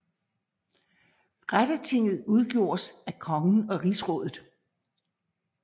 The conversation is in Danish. Rettertinget udgjordes af kongen og Rigsrådet